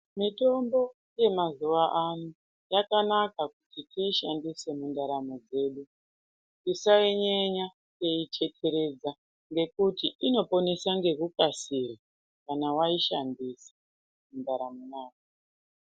Mitombo yemazuwa ano yakanaka kuti tiishandise mudaramo dzedu tisainyenya teiyitetereza ngekuti inoponesa ngekukasira kana waishandisa mundaramo yako.